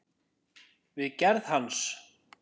við gerð hans.